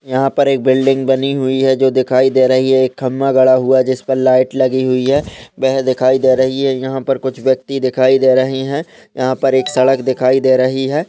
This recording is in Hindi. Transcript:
यहाँ पर एक बिल्डिंग बनी हुई है जो दिखाई दे रही है एक खंबा गड़ा हुआ है जिस पर लाइट लगी हुई है वह दिखाई दे रही है यहाँ पर कुछ व्यक्ति दिखाई दे रहे हैं यहाँ पर एक सड़क दिखाई दे रही है।